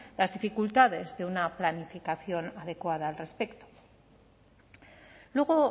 las dificultades de una planificación adecuada al respecto luego